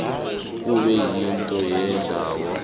kube yikhotho yendawo